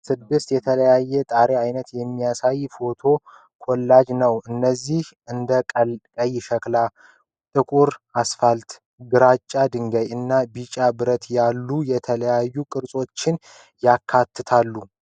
ስድስት የተለያዩ የጣሪያ አይነቶችን የሚያሳይ የፎቶ ኮላጅ ነው። እነዚህም እንደ ቀይ ሸክላ፣ ጥቁር አስፋልት፣ ግራጫ ድንጋይ እና ቢጫ ብረት ያሉ የተለያዩ ቅርጾችን ያካትታሉ።